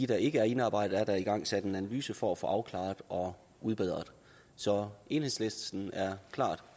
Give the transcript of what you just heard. der ikke er indarbejdet er der igangsat en analyse af for at få afklaret og udbedret så enhedslisten er klart